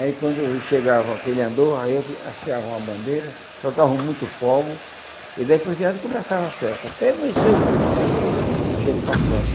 Aí quando chegava aquele andor, aí eles asteavam a bandeira, soltavam muito fogo, e daí por diante começava a festa, até amanhecer o dia, a gente tocando.